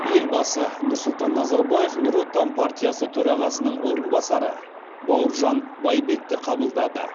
елбасы нұрсұлтан назарбаев нұр отан партиясы төрағасының орынбасары бауыржан байбекті қабылдады